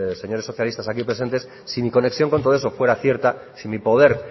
señores socialistas aquí presentes si mi conexión con todo eso fuera cierta si mi poder